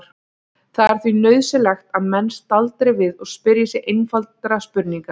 Það er því nauðsynlegt að menn staldri við og spyrji sig einfaldra spurninga